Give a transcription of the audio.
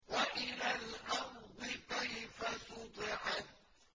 وَإِلَى الْأَرْضِ كَيْفَ سُطِحَتْ